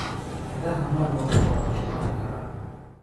Idaha meel walba waa lagu dhaqi karaa.